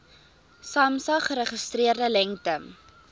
samsa geregistreerde lengte